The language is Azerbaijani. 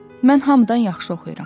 Mən hamıdan yaxşı oxuyuram.